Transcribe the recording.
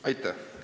Aitäh!